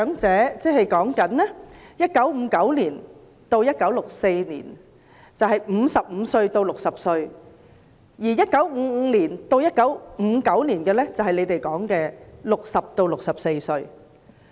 在1959年至1964年出生的人，現時是55至60歲，而在1955年至1959年出生的人，就是當局說的60至64歲。